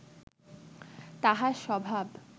তাঁহার স্বভাব